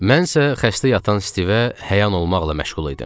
Mənsə xəstə yatan Stivə həyan olmaqla məşğul idim.